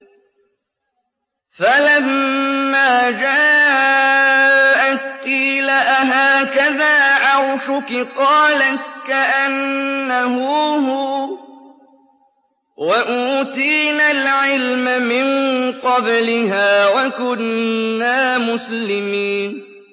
فَلَمَّا جَاءَتْ قِيلَ أَهَٰكَذَا عَرْشُكِ ۖ قَالَتْ كَأَنَّهُ هُوَ ۚ وَأُوتِينَا الْعِلْمَ مِن قَبْلِهَا وَكُنَّا مُسْلِمِينَ